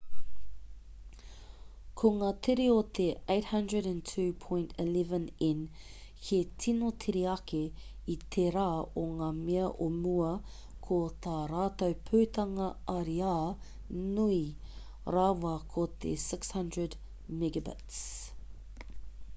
ko ngā tere o te 802.11n he tino tere ake i tērā o ngā mea o mua ko tā rātou putanga ariā nui rawa ko te 600mbit/s